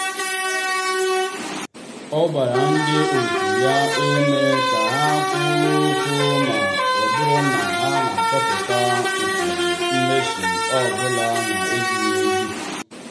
ọ gbara ndị otu ya ume ka ha kwuo okwu ma ọ bụrụ na ha achọpụta usoro mmeso ọ bụla na-ezighị ezi.